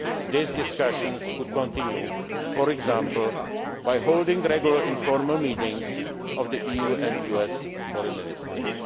to work together. These discussions will continue, for example, by holding regular informal meetings of the EU and US